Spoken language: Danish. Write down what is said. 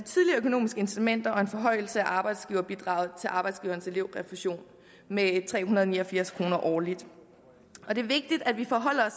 økonomiske incitamenter samt en forhøjelse af arbejdsgiverbidraget til arbejdsgivernes elevrefusion med tre hundrede og ni og firs kroner årligt det er vigtigt at vi forholder